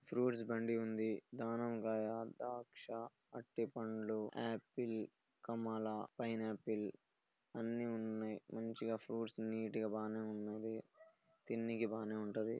fruits బండి ఉంది దానిమ్మ కాయ ద్రాక్ష అరటిపండ్లు ఆపిల్ కమల ఫైన్ ఆపిల్ అన్ని ఉన్నాయి మంచిగా ఫ్రూట్స్ నీట్ గా బానే ఉన్నాయి తిన్నికి బానే ఉంటది